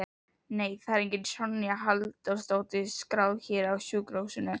Nei, það er engin Sonja Halldórsdóttir skráð hér á sjúkrahúsinu